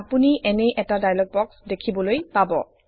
আপুনি এনে এটা ডায়লগ বক্স দেখিবলৈ পাব